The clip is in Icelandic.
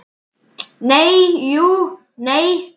Nei, jú, nei.